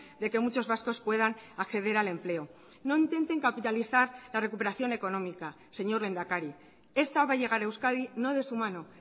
de que muchos vascos puedan acceder al empleo no intenten capitalizar la recuperación económica señor lehendakari esta va a llegar a euskadi no de su mano